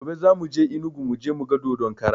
Gobe za muje enugu muje muga dodon kara